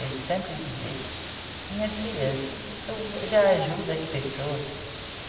Ele sempre dizia, minha filha, tu já ajuda as pessoas.